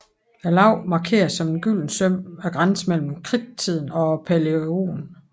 Laget markerer som et gyldent søm grænsen mellem Kridttiden og Palæogen